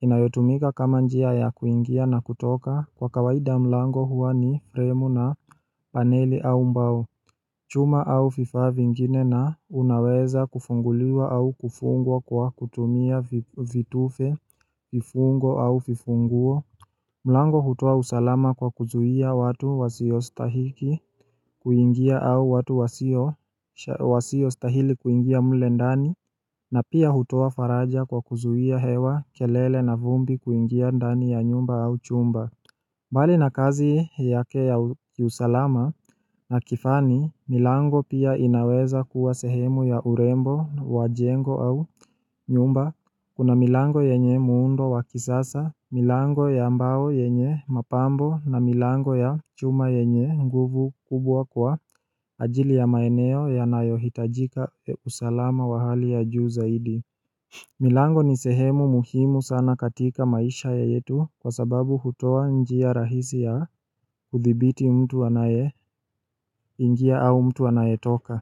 inayotumika kama njia ya kuingia na kutoka kwa kawaida mlango huwa ni fremu na paneli au mbao chuma au fifa vingine na unaweza kufunguliwa au kufungwa kwa kutumia vitufe vifungo au fifunguo mlango hutoa usalama kwa kuzuia watu wasiostahiki kuingia au watu Wasiostahili kuingia mle ndani na pia hutoa faraja kwa kuzuia hewa kelele na vumbi kuingia ndani ya nyumba au chumba mbali na kazi yake ya kiusalama na kifani, milango pia inaweza kuwa sehemu ya urembo, wajengo au nyumba Kuna milango yenye muundo wakisasa, milango ya mbao yenye mapambo na milango ya chuma yenye nguvu kubwa kwa ajili ya maeneo yanayohitajika usalama wa hali ya juu zaidi. Milango ni sehemu muhimu sana katika maisha ya yetu kwa sababu hutoa njia rahisi ya kuthibiti mtu anayeingia au mtu anayetoka.